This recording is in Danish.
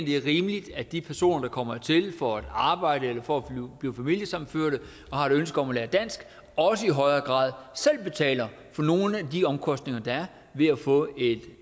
det er rimeligt at de personer der kommer hertil for at arbejde eller for at blive familiesammenført og har et ønske om at lære dansk også i højere grad selv betaler for nogle af de omkostninger der er ved at få et